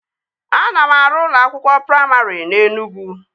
Ana m arụ ụlọ akwụkwọ praimarị na Enugwu